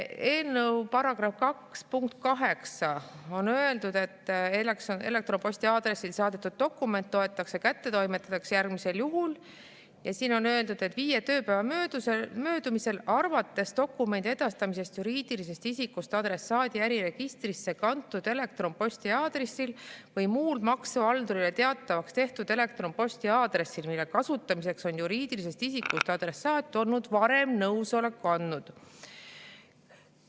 Eelnõu § 2 punktis 8 on öeldud, et elektronposti aadressil saadetud dokument loetakse kättetoimetatuks järgmisel juhul, ja siin on öeldud, et viie tööpäeva möödumisel arvates dokumendi edastamisest juriidilisest isikust adressaadi äriregistrisse kantud elektronposti aadressil või muul maksuhaldurile teatavaks tehtud elektronposti aadressil, mille kasutamiseks on juriidilisest isikust adressaat olnud varem nõusoleku andnud.